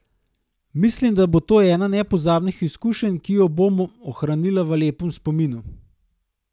Mislim, da bo to ena nepozabnih izkušenj, ki jo bom ohranila v lepem spominu.